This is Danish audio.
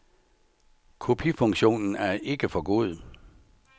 Kopifunktionen er ikke for god.